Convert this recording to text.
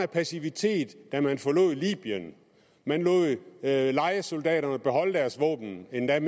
passivitet da man forlod libyen man lod lejesoldaterne beholde deres våben endda